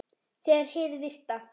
Þegar hið virta